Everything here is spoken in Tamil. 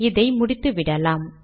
இதை முடித்துவிடலாம்